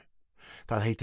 það heitir